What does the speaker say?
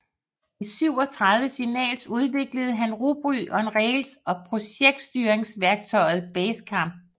I 37signals udviklede han Ruby on Rails og projektstyringsværktøjet Basecamp